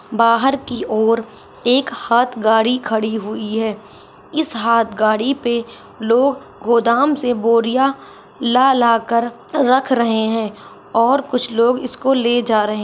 बहार की और एक हाथ गाड़ी खड़ी हुई है इस हाथ गाड़ी पे लोग गोदाम से बोरिया ला ला कर रख रहे है और कुछ लोग इसको ले जा रहे है।